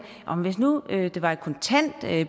hvis nu det var et kontant